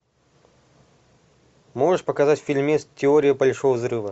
можешь показать фильмец теория большого взрыва